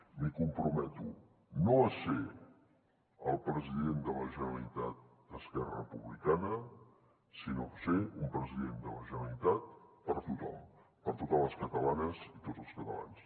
m’hi comprometo no a ser el president de la generalitat d’esquerra republicana sinó a ser un president de la generalitat per tothom per totes les catalanes i tots els catalans